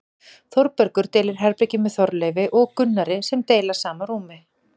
Þórbergur deilir herbergi með Þorleifi og Gunnari sem deila sama rúmi.